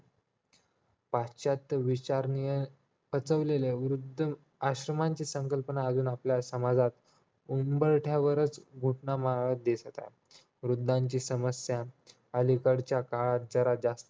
पश्चात विचारणीय पचवले आहे वृद्ध आश्रमाची संकल्पना अजून आपल्या समाजात उंबरठ्यावर घटण्या मारत दिसत आहेत वृद्धीची समस्या अलीकडच्या काळात जरा जास्त